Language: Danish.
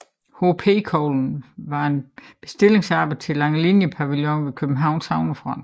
PH Koglen var et bestillingsarbejde til Langelinie Pavillonen ved Københavns havnefront